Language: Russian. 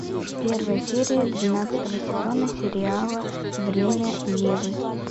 первая серия двенадцатого сезона сериала время евы